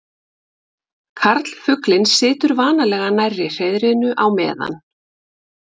Karlfuglinn situr vanalega nærri hreiðrinu á meðan.